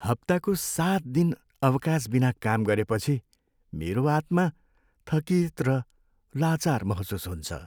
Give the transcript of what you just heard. हप्ताको सात दिन अवकाशबिना काम गरेपछि मेरो आत्मा थकित र लाचार महसुस हुन्छ।